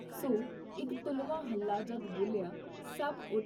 ਸੋ, ਇਕ ਤੁਲਵਾਂ ਹੱਲਾ ਜਦ ਬੋਲਿਆ ਤਾਂ ਸਭ ਉਠ